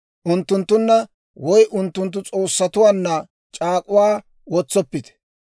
Unttunttunna woy unttunttu s'oossatuwaanna c'aak'uwaa wotsoppite.